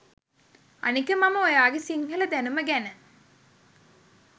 අනික මම ඔයාගෙ සිංහල දැනුම ගැන